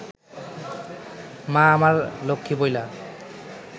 মা আমার লক্ষ্মী বইলা